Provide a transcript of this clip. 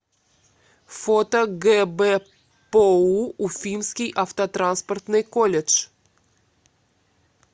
фото гбпоу уфимский автотранспортный колледж